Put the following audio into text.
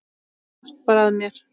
Þú hlóst bara að mér.